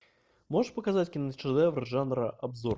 можешь показать киношедевр жанра обзор